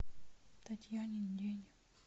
татьянин день